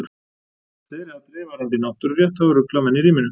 Fleiri atriði varðandi náttúrurétt hafa ruglað menn í ríminu.